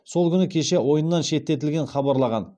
сол күні кеше ойыннан шеттетілгенін хабарлаған